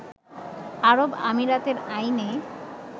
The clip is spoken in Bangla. আরব আমিরাতের আইনে